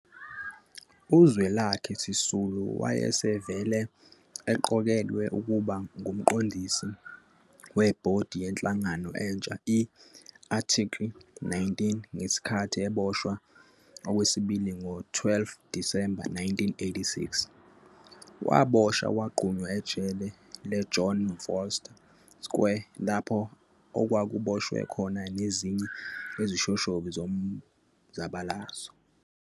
UZwelakhe Sisulu wayesevele eqokelwe ukuba ngumqondisi weBhodi yenhlangano entsha i-ARTICLE 19 ngesikhathi eboshwa okwesibili ngo-12 Disemba 1986. Waboshwa wagqunywa ejele le-John Vorster Square lapho okwakuboshwe khona nezinye izishoshovu zomzabalazo.